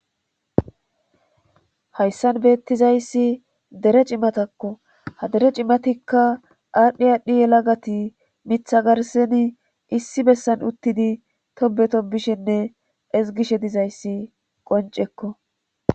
Hayssan beettizayssi dere cimatakko ha dere cimatikka aadhdhi aadhdhi yela gati mitha garseni issi bessan uttidi tobeto bishenne ezgishe dizayssi qoncekko.